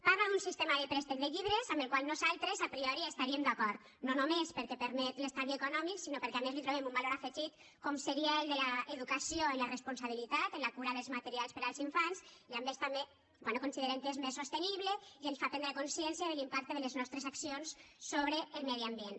parla d’un sistema de préstec de llibres amb el qual nosaltres a priori estaríem d’acord no només perquè permet l’estalvi econòmic sinó perquè a més li trobem un valor afegit com seria el de l’educació en la responsabilitat en la cura dels materials per als infants i a més també bé considerem que és més sostenible i ens fa prendre consciència de l’impacte de les nostres accions sobre el medi ambient